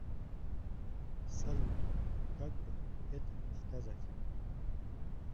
салют как бы это сказать